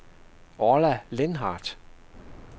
Orla Lindhardt